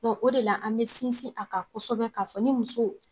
Dɔ o de la an bɛ sinsin a kan kosɛbɛ k'a fɔ ni muso